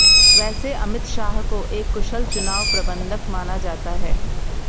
वैसे अमित शाह को एक कुशल चुनाव प्रबंधक माना जाता रहा है